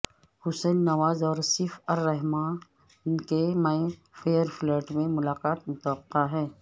حسین نواز اور سیف ارحمان کی Mayfair flat میں ملاقات متوقع ہے